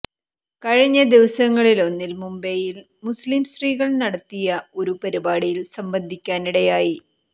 കഴിഞ്ഞ ദിവസങ്ങളിലൊന്നിൽ മുംബൈയിൽ മുസ്ലിം സ്ത്രീകൾ നടത്തിയ ഒരു പരിപാടിയിൽ സംബന്ധിക്കാനിടയായി